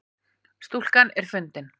Stúlkan er fundin